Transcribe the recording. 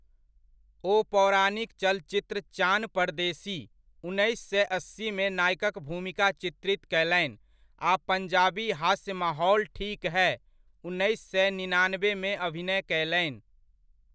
ओ पौराणिक चलचित्र चान परदेसी, उन्नैस सए अस्सीमे नायकक भूमिका चित्रित कयलनि आ पंजाबी हास्य माहौल ठीक है ,उन्नैस सए निनानबेमे अभिनय कयलनि।